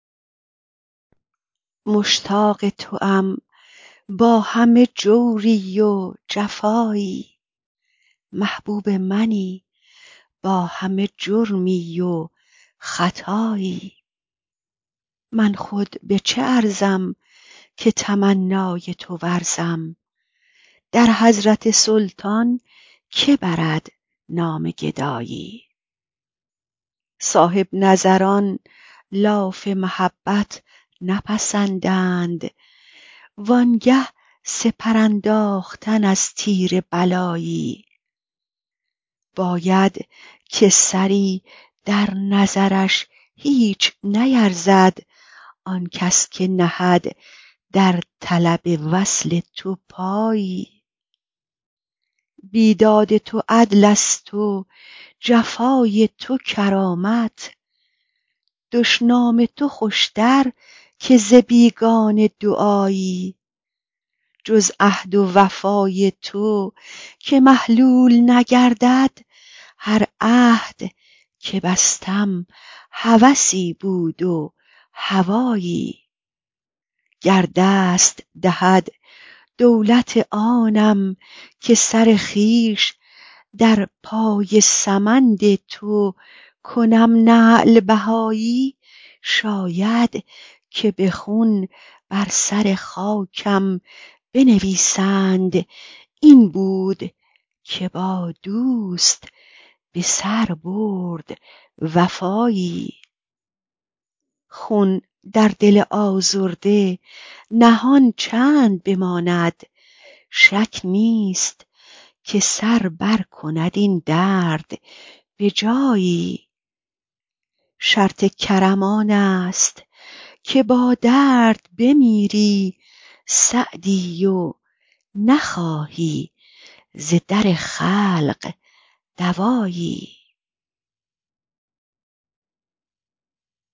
مشتاق توام با همه جوری و جفایی محبوب منی با همه جرمی و خطایی من خود به چه ارزم که تمنای تو ورزم در حضرت سلطان که برد نام گدایی صاحب نظران لاف محبت نپسندند وان گه سپر انداختن از تیر بلایی باید که سری در نظرش هیچ نیرزد آن کس که نهد در طلب وصل تو پایی بیداد تو عدلست و جفای تو کرامت دشنام تو خوشتر که ز بیگانه دعایی جز عهد و وفای تو که محلول نگردد هر عهد که بستم هوسی بود و هوایی گر دست دهد دولت آنم که سر خویش در پای سمند تو کنم نعل بهایی شاید که به خون بر سر خاکم بنویسند این بود که با دوست به سر برد وفایی خون در دل آزرده نهان چند بماند شک نیست که سر برکند این درد به جایی شرط کرم آنست که با درد بمیری سعدی و نخواهی ز در خلق دوایی